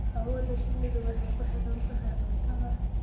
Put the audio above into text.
Awoodda shinnidu waxay ku xidhan tahay cuntada.